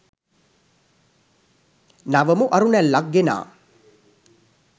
නවමු අරුණැල්ලක් ගෙනා